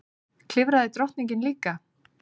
Klifraði drottningin líka?